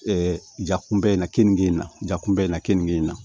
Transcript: jakunba in na kenige in na jakuba in na kenige in na